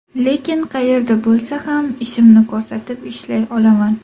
Lekin qayerda bo‘lsa ham, ishimni ko‘rsatib, ishlay olaman.